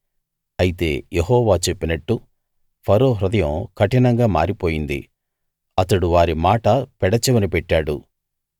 అయితే యెహోవా చెప్పినట్టు ఫరో హృదయం కఠివంగా మారిపోయింది అతడు వారి మాట పెడచెవిన పెట్టాడు